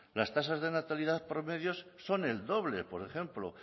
las tasas de natalidad promedios son el doble por ejemplo